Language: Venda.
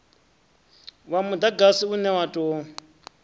wa mudagasi une wa tou